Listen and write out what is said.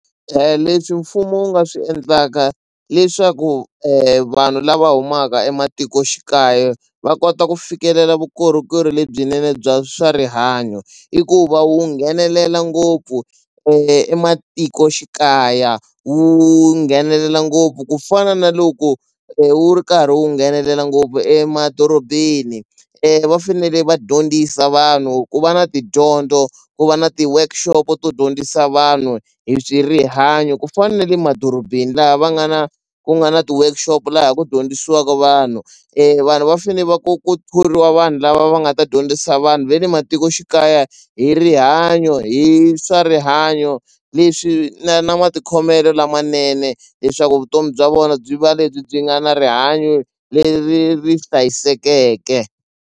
Leswi mfumo wu nga swi endlaka leswaku vanhu lava humaka ematikoxikaya va kota ku fikelela vukorhokeri lebyinene bya swa rihanyo i ku va wu nghenelela ngopfu ematikoxikaya wu nghenelela ngopfu ku fana na loko wu karhi wu nghenelela ngopfu emadorobeni va fanele va dyondzisa vanhu ku va na tidyondzo ku va na ti-workshop-o to dyondzisa vanhu hi rihanyo ku fana le madorobeni laha va nga na ku nga na ti-workshop laha ku dyondzisiwaka vanhu vanhu va fane va ku thoriwa vanhu lava va nga ta dyondzisa vanhu ve le matikoxikaya hi rihanyo hi swa rihanyo leswi na na matikhomelo lamanene leswaku vutomi bya vona byi va lebyi byi nga na rihanyo leri ri hlayisekeke.